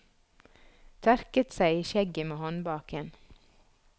Tørket seg i skjegget med håndbaken.